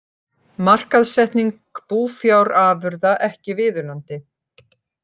Markaðssetning búfjárafurða ekki viðunandi